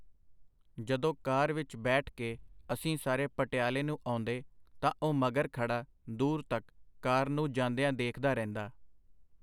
ਜਦੋਂ ਕਾਰ ਵਿੱਚ ਬੈਠ ਕੇ ਅਸੀਂ ਸਾਰੇ ਪਟਿਆਲੇ ਨੂੰ ਆਉਂਦੇ ਤਾਂ ਉੁਹ ਮਗਰ ਖੜ੍ਹਾ ਦੂਰ ਤਕ ਕਾਰ ਨੂੰ ਜਾਂਦਿਆਂ ਦੇਖਦਾ ਰਹਿੰਦਾ.